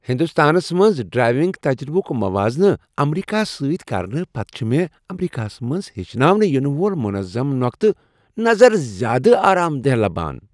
ہندوستانس منٛز ڈرٛایونٛگ تجربُک موازنہٕ امریکہس سۭتۍ کرنہٕ پتہٕ چھ ٗمےٚ امریکہس منٛز ہیٚچھناونہٕ ینہٕ وول منظم نۄقطہٕ نظر زیادٕ آرام دہ باسان۔